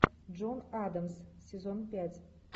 джон адамс сезон пять